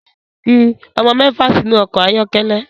Fi ọmọ mẹfa sinu ọkọ ayọkẹlẹ